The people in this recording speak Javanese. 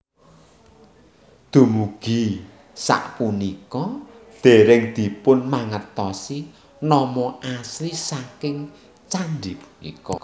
Dumugi sapunika dereng dipunmangertosi nama asli saking candhi punika